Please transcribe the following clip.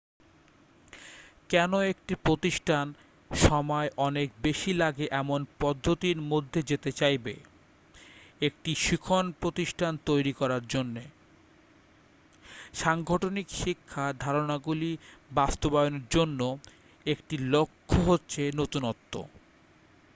কেন একটি প্রতিষ্ঠান সময় অনেক বেশি লাগে এমন পদ্ধতির মধ্যে যেতে চাইবে একটি শিখন প্রতিষ্টান তৈরি করার জন্য সাংগঠনিক শিক্ষার ধারণাগুলি বাস্তবায়নের জন্য একটি লক্ষ্য হচ্ছে নতুনত্ব